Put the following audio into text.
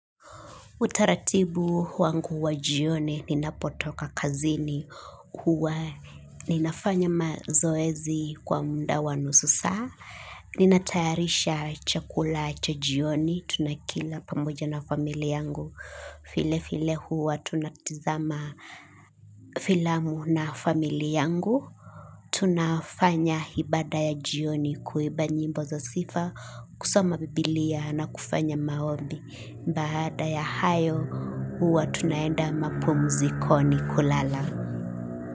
Utaratibu wangu wa jioni ninapotoka kazini huwa ninafanya mazoezi kwa muda wanusu saa. Ninatayarisha chakula cha jioni tunakila pamoja na familia yangu. Vile vile huwa tunatizama filamu na familia yangu. Tunafanya ibada ya jioni kuimba nyimbo za sifa kusoma biblia na kufanya maombi. Baada ya hayo huwa tunaenda mapumzikoni kulala.